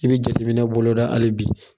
I be jateminɛ bɔlɔda ali bi